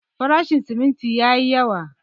Farashin siminti yayi yawa.